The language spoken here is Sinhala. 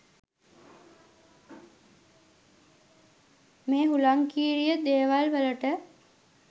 මේ හුලංකීරිය දේවල් වලට